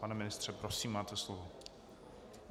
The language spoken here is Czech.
Pane ministře, prosím, máte slovo.